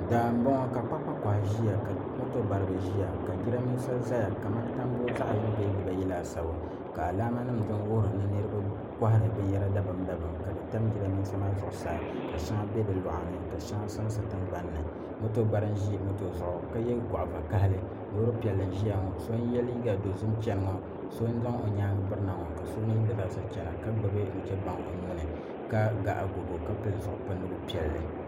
Daani n boŋo ka kpakpa koha ʒiya ka moto baribi ʒiya ka jiranbiisa ʒɛya kamani tambu zaɣ yini bee dibayi laasabu ka alaama nim din wuhuri ni niraba kohari binyɛra dabam dabam ka di tam jiranbiisa maa zuɣusaa ka shɛŋa bɛ di loɣani ka shɛŋa sansa tingbanni moto bari n ʒi moto zuɣu ka yɛ goɣa vakaɣali Loori piɛlli n ʒiya ŋo so n yɛ liiga dozim chɛni ŋo so n zaŋ o nyaangi birina ŋo ka so mii gba zaa sa chɛna ka gbubi nuchɛ baŋ o nuuni ka ga agogo ka pili zipili piɛlli